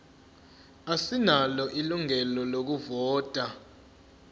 asinalo ilungelo lokuvota